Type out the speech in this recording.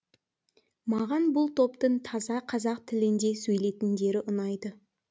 маған бұл топтың таза қазақ тілінде сөйлейтіндері ұнайды